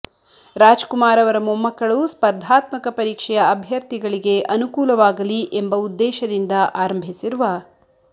ರಾಜ್ಕುಮಾರ್ ಅವರ ಮೊಮ್ಮಕ್ಕಳು ಸ್ಫರ್ಧಾತ್ಮಕ ಪರೀಕ್ಷೆಯ ಅಭ್ಯರ್ಥಿಗಳಿಗೆ ಅನುಕೂಲವಾಗಲಿ ಎಂಬ ಉದ್ದೇಶದಿಂದ ಆರಂಭಿಸಿರುವ